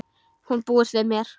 Hún búist við mér.